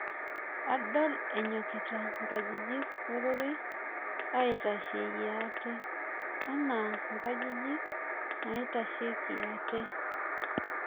Adol anyokita nkajijik ororei aitasheyie ate anaa nkajijik naitasheki ate